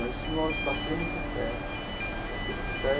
Mas isso nós batemos o pé, batemos o pé.